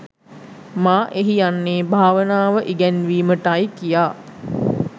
මා එහි යන්නේ භාවනාව ඉගැන්වීමට යි කියා.